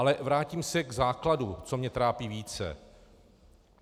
Ale vrátím se k základu, co mě trápí více.